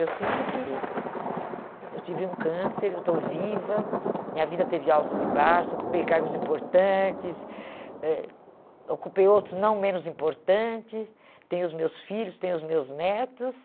Eu sinto que eh eu tive um câncer, eu estou viva, minha vida teve altos e baixos, ocupei cargos importantes, ãh ocupei outros não menos importante, tenho os meus filhos, tenho os meus netos.